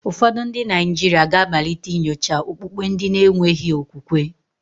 Ụfọdụ ndị Naijiria ga-amalite inyocha okpukpe ndi na-enweghi okwukwe.